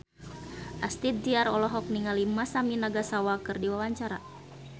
Astrid Tiar olohok ningali Masami Nagasawa keur diwawancara